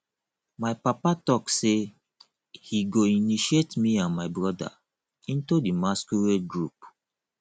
my papa talk say he go initiate me and my broda into the masquerade group